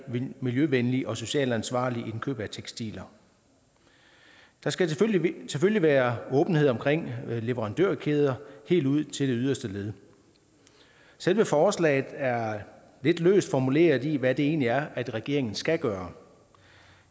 miljøvenligt og socialt ansvarligt indkøb af tekstiler der skal selvfølgelig være åbenhed omkring leverandørkæder helt ud til det yderste led selve forslaget er lidt løst formuleret i forhold til hvad det egentlig er at regeringen skal gøre